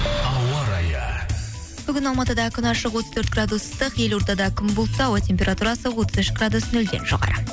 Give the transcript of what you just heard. ауа райы бүгін алматыда күн ашық отыз төрт градус ыстық елордада күн бұлтты ауа температурасы отыз үш градус нөлден жоғары